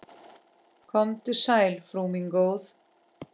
Komdu sæl, frú mín góð.